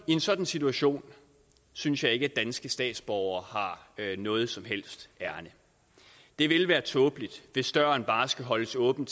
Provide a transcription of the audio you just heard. en sådan situation synes jeg ikke at danske statsborgere har noget som helst ærinde det ville være tåbeligt hvis døren bare skulle holdes åben